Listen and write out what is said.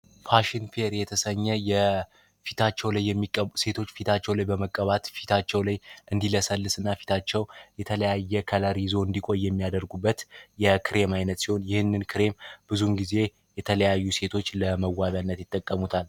ፋሽን ፔር የተሰኘ ፊታቸው ላይ የሚቀቡ ሴቶች ፊታቸውን በመቀባት ፊታቸው ላይ እንዲለሰልስና ፊታቸው የተለያየ ከለር ይዞ እንዲቆይ የሚያደርጉበት ይህንን ክሬም ብዙ ግዜ የተለያዩ ሴቶች ለመዋቢነት ይጠቀሙበታል።